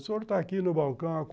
O senhor está aqui no balcão há quaren